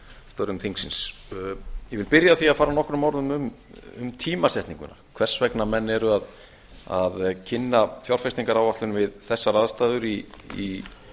störfum þingsins ég vil byrja á því að fara nokkrum orðum um tímasetninguna hvers vegna menn eru að kynna fjárfestingaráætlun við þessar aðstæður í